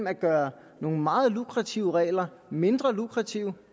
at gøre nogle meget lukrative regler mindre lukrative